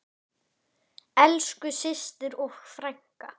Elsku systir og frænka.